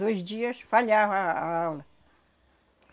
Dois dias falhava a a aula.